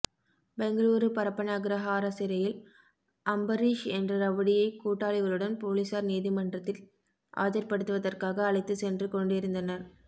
பெங்களூரு பரப்பன அக்ரஹாரா சிறையில் அம்பரீஷ் என்ற ரவுடியை கூட்டாளிகளுடன் போலீசார் நீதிமன்றத்தில் ஆஜர்படுத்துவதற்காக அழைத்து சென்று கொண்டிருந்தனர்